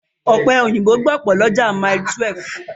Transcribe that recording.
Ọ̀pẹ̀ òyìnbó gbọ̀pọ̀ lọ́jà Mile12.